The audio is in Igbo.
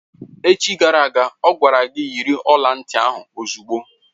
Echi gara aga, ọ gwara gị yiri ọla ntị ahụ ozugbo!